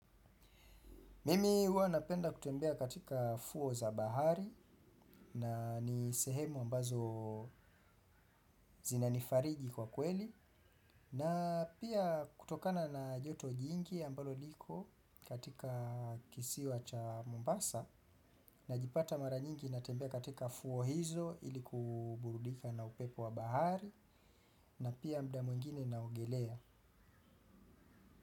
Mimi huwa napenda kutembea katika fuo za bahari na ni sehemu ambazo zinanifariji kwa kweli na pia kutokana na joto jingi ambalo liko katika kisiwa cha Mombasa najipata mara nyingi natembea katika fuo hizo ili kuburudika na upepo wa bahari na pia muda mwingine naogelea.